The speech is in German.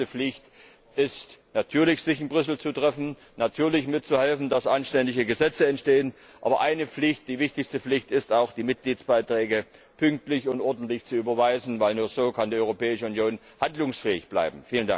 Die erste Pflicht ist natürlich, sich in Brüssel zu treffen, natürlich mitzuhelfen, dass anständige Gesetze entstehen, aber die wichtigste Pflicht ist auch, die Mitgliedsbeiträge pünktlich und ordentlich zu überweisen, denn nur so kann die Europäische Union handlungsfähig bleiben.